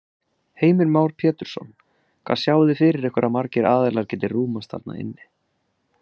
Heimir Már Pétursson: Hvað sjáið þið fyrir ykkur að margir aðilar geti rúmast þarna inni?